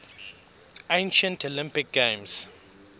ancient olympic games